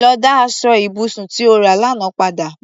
Lọ dá aṣọ ibùsùn tí o rà lánàá padà!